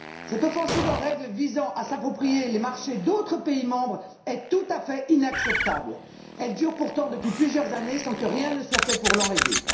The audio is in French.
Cette offensive en règle visant à s'approprier les marchés d'autres pays membres est tout à fait inacceptable. Elle dure pourtant depuis plusieurs années sans que rien ne soit fait pour l'enrayer.